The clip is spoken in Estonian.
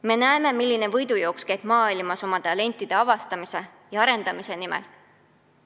Me näeme, milline võidujooks käib maailmas oma talentide avastamise ja arendamise nimel.